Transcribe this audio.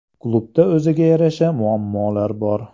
Klubda o‘ziga yarasha muammolar bor.